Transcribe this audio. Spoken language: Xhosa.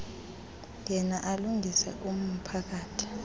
yena alungise umphakathi